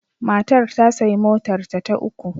Matar ta sayi motarta ta uku.